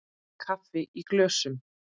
Kaffi í glösum.